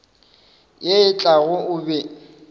ye e tlago o be